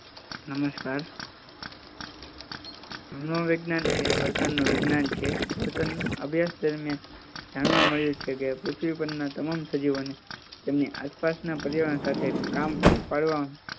નમસ્કાર મનોવિજ્ઞાન એ વર્તનું વિજ્ઞાન છે વર્તનનો અભ્યાસ દરમિયાન જાણવા મળ્યું છે કે પૃથ્વી પરના તમામ સજીવનો તેમની આસપાસના પર્યાવરણ સાથે કામ પૂરું પાડવામાં